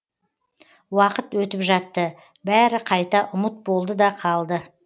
уақыт өтіп жатты бәрі қайта ұмыт болды да қалды